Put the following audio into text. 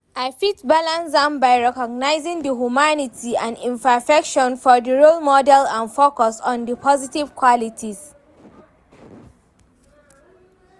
i fit balance am by recognizing di humanity and imperfections of di role model and focus on di positive qualities.